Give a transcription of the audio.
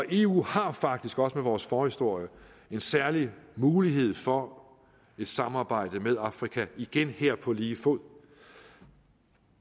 eu har faktisk også med vores forhistorie en særlig mulighed for et samarbejde med afrika igen her på lige fod